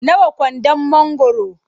Nawa kwandon mangwaro?